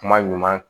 Kuma ɲuman